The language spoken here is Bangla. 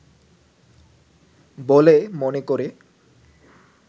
বলে মনে করে